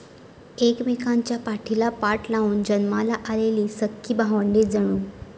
एकमेकांच्या पाठीला पाठ लावून जन्माला आलेली सख्खी भावंडे जणू.